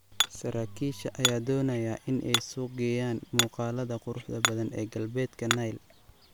Saraakiisha ayaa doonaya in ay suuq geeyaan muuqaalada quruxda badan ee galbeedka Nile.